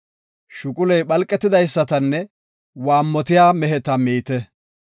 Shuquley phalqetidaysatanne waammotiya meheta miite.